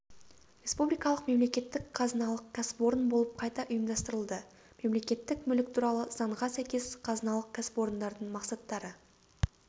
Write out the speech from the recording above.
республикалық мемлекеттік қазыналық кәсіпорын болып қайта ұйымдастырылды мемлекеттік мүлік туралы заңға сәйкес қазыналық кәсіпорындардың мақсаттары